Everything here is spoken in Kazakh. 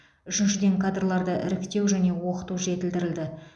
үшіншіден кадрларды іріктеу және оқыту жетілдірілді